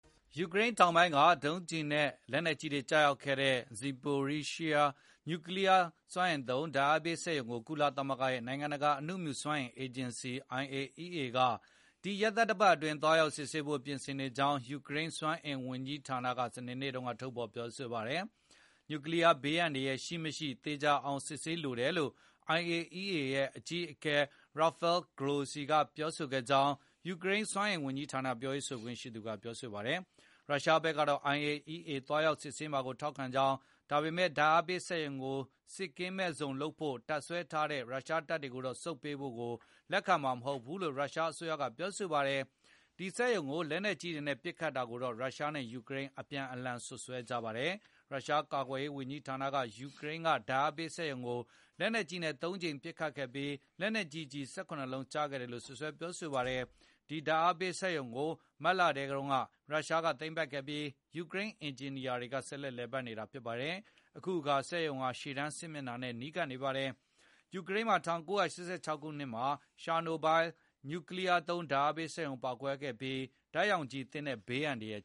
ယူကရိန်းတောင်ပိုင်းက ဒုံကျည်နဲ့လက်နက်ကြီးတွေကျရောက်ခဲ့တဲ့ Zaporizhzhia ညူကလီးယား စွမ်းအင်သုံး ဓာတ်အားပေးစက်ရုံကို ကုလသမဂ္ဂ နိုင်ငံတကာ အနုမြူစွမ်းအင် အေဂျင်စီ IAEA က ဒီရက်သတ္တပတ်အတွင်း သွားရောက်စစ်ဆေးဖို့ ပြင်ဆင်နေကြောင်း ယူကရိန်း စွမ်းအင်ဝန်ကြီးဌာနက စနေနေ့က ထုတ်ဖေါ်ပြောဆိုပါတယ်။ နျူကလီးယား ဘေးအန္တရာယ် ရှိမရှိ သေခြာအောင် စစ်ဆေးဖို့ လိုတယ်လို့ IAEA အကြီးအကဲ Rafael Mariano Grossi ကပြောဆိုခဲ့ကြောင်း ယူကရိန်း စွမ်းအင်ဝန်ကြီးဌာန ပြောရေးဆိုခွင့်ရှိသူက ပြောဆိုပါတယ်။ ရုရှားဘက်ကတော့ IAEA သွားရောက်စစ်ဆေးမှာကို ထောက်ခံကြောင်း၊ ဒါပေမယ့် ဓါတ်အားပေးစက်ရုံကို စစ်ကင်းမဲ့ဇုံလုပ်ဖို့ တပ်စွဲထားတဲ့ ရုရှားတပ်တွေကိုတော့ နောက်ဆုတ်ပေးဖို့ လက်မခံနိုင်ဘူးလို့ ပြောပါတယ်။ အဲဒီစက်ရုံကို လက်နက်ကြီးတွေနဲ့ ပစ်ခတ်တာကိုတော့ ရုရှားနဲ့ ယူကရိန်း အပြန်အလှန်စွပ်စွဲ ကြပါတယ်။ ရုရှား ကာကွယ်ရေးဝန်ကြီးဌာနက ယူကရိန်း ဓာတ်အားပေးစက်ရုံကို လက်နက်ကြီးတွေနဲ ၃ ကြိမ်ပစ်ခတ်ခဲ့ပြီး၊ လက်နက်ကြီးကျည် ၁၇ လုံးကျရောက်ပေါက်ကွဲ ခဲ့တယ်လို့ ပြောဆိုပါတယ်။ အဲဒီဓာတ်အားပေးစက်ရုံကို မတ်ထဲက ရုရှားက သိမ်းပိုက်ခဲ့ပြီး၊ ယူကရိန်းက အင်ဂျင်နီယာတွေက ဆက်လက်လည်ပတ်နေတာဖြစ်ပါတယ်။ အခုအခါ စက်ရုံဟာ ရှေ့တန်းစစ်မျက်နှာ နဲ့ နီးကပ်နေပါတယ်။ ယူကရိန်းမှာ ၁၉၈၆ ခုနှစ်က ချာနိုဘိုင်း နျူကလီးယားသုံး ဓာတ်အားပေးစက်ရုံ ပေါက်ကွဲမှုဖြစ်ခဲ့ပြီး ဓာတ်ရောင်ခြည်သင့်တဲ့ ဘေးအန္တရယ်